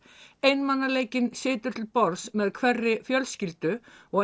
einmanaleikinn situr til borðs með hverri fjölskyldu og